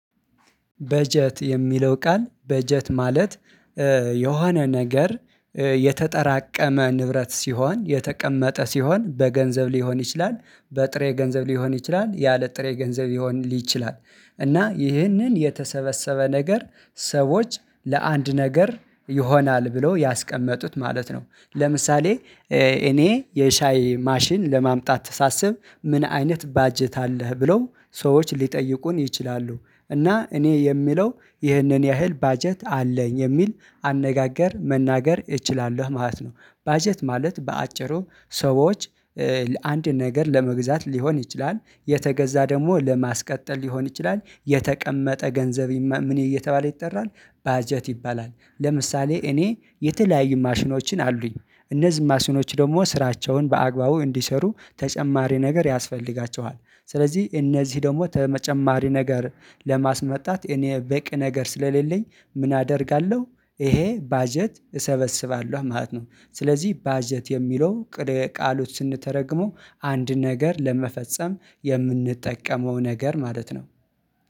በጀት የሚለው ቃል በጀት ማለት የሆነ ነገር የተጠራቀመ ንብረት ሲሆን የተቀመጠ ሲሆን በገንዘብ ሊሆን ይችላል በጥሬ ገንዘብ ሊሆን ይችላል ያለ ጥሬ ገንዘብ ሊሆን ሊችል እና ይህንን የተሰበሰበ ነገር ሰዎች ለአንድ ነገር ይሆናል ብለው ያስቀመጡት ማለት ነው። ለምሳሌ እኔ የሻይ ማሽን ለማምጣት ሳስብ ምን አይነት በጀት አለህ ብለው ሰዎች ሊጠይቁን ይችላሉ እና እኔ የሚለው ይሄንን ያህል ባጀት አለኝ የሚል አነጋገር መናገር እችላለሁ ማለት ነው። በጀት ማለት በአጭሩ ሰዎች አንድ ነገር ለመግዛት ሊሆን ይችላል የተገዛ ደግሞ ለማስቀጠል ሊሆን ይችላል የተቀመጠ ገንዘብ ምን እየተባለ ይጠራል በጀት ይባላል። ለምሳሌ እኔ የተለያዩ ማሽኖችን አሉኝ እነዚህ ማሽኖች ደግሞ ስራቸውን በአግባቡ እንዲሰሩ ተጨማሪ ነገር ያስፈልጋቸዋል ስለዚህ እነዚህ ደግሞ ተመጨማሪ ነገር ለማስመጣት እኔ በቂ ነገር ስለሌለኝ ምን አደርጋለሁ ይሄ በጀት እሰበስባለሁ ማለት ነው። ስለዚህ በጀት የሚለው ቃሉን ስንተረጉመው አንድ ነገር ለመፈጸም የምንጠቀመው ነገር ማለት ነው።